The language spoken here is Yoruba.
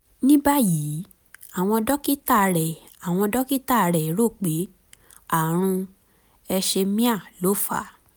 ní báyìí àwọn dókítà rẹ̀ àwọn dókítà rẹ̀ rò pé ààrùn hersheimer ló fà á